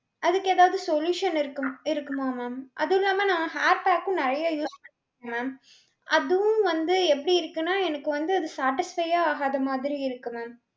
அதுக்கு ஏதாவது solution இருக்கும் இருக்குமா ma'am. அது இல்லாம நான் hair pack உம் நெறைய use பண்ணிருக்கேன் ma'am. அதுவும் வந்து எப்படி இருக்குன்னா எனக்கு வந்து அது satisfy யே ஆகாத மாதிரி இருக்கு ma'am.